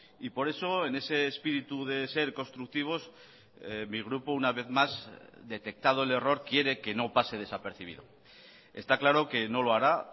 y por eso en ese espíritu de ser constructivos mi grupo una vez más detectado el error quiere que no pase desapercibido está claro que no lo hará